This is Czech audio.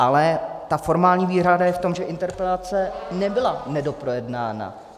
Ale ta formální výhrada je v tom, že interpelace nebyla nedoprojednána.